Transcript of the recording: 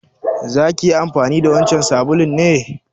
Za ki yi amfani da wancan sabulun ne?